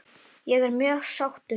Ég er mjög sáttur.